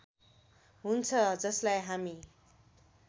हुन्छ जसलाई हामी